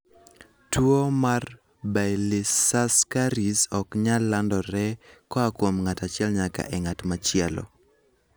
Tuwo mar Baylisascaris ok nyal landore koa kuom ng'ato achiel nyaka e ng'at machielo.